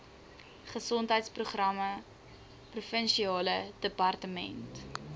gesondheidsprogramme provinsiale departement